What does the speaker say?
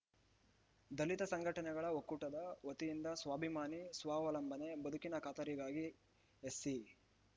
ದಲಿತ ಸಂಘಟನೆಗಳ ಒಕ್ಕೂಟದ ವತಿಯಿಂದ ಸ್ವಾಭಿಮಾನಿ ಸ್ವಾವಲಂಬನೆ ಬದುಕಿನ ಖಾತರಿಗಾಗಿ ಎಸ್ಸಿ